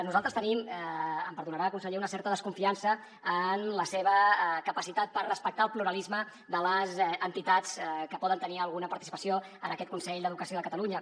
nosaltres tenim em perdonarà conseller una certa desconfiança en la seva capacitat per respectar el pluralisme de les entitats que poden tenir alguna participació en aquest consell d’educació de catalunya